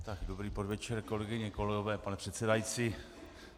Dobrý podvečer, kolegyně, kolegové, pane předsedající.